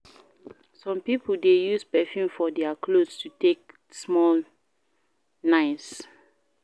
Some pipo de use perfume for their clothes to take small nice